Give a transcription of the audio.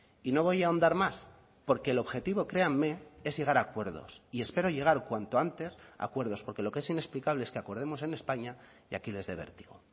y no voy a ahondar más porque el objetivo créanme es llegar a acuerdos y espero llegar cuanto antes a acuerdos porque lo que es inexplicable es que acordemos en españa y aquí les de vértigo